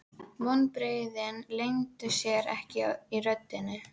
Vonbrigðin leyndu sér ekki í röddinni.